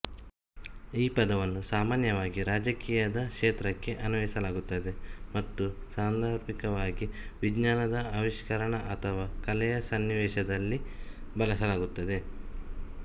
ಈ ಪದವನ್ನು ಸಾಮಾನ್ಯವಾಗಿ ರಾಜಕೀಯದ ಕ್ಷೇತ್ರಕ್ಕೆ ಅನ್ವಯಿಸಲಾಗುತ್ತದೆ ಮತ್ತು ಸಾಂದರ್ಭಿಕವಾಗಿ ವಿಜ್ಞಾನ ಆವಿಷ್ಕರಣ ಅಥವಾ ಕಲೆಯ ಸನ್ನಿವೇಶದಲ್ಲಿ ಬಳಸಲಾಗುತ್ತದೆ